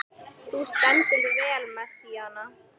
Þú stendur þig vel, Messíana!